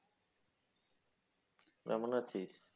কেমন আছিস?